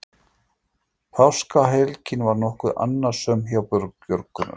Páskahelgin var nokkuð annasöm hjá björgunarsveitum